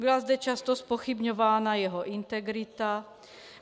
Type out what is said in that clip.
Byla zde často zpochybňována jeho integrita.